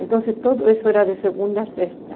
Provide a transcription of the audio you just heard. Então, tudo isso era de segunda a sexta.